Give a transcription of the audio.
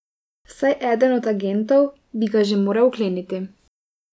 Vsaj eden od agentov bi ga že moral vkleniti.